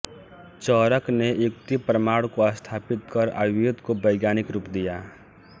चरक ने युक्ति प्रमाण को स्थापित कर आयुर्वेद को वैज्ञानिक रूप दिया